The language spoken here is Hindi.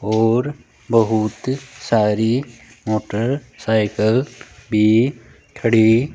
और बहुत सारी मोटरसाइकिल भी खड़ी --